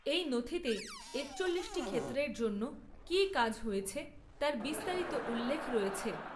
এই নথিতে একচল্লিশটি ক্ষেত্রের জন্য কী কাজ হয়েছে তার বিস্তারিত উল্লেখ রয়েছে।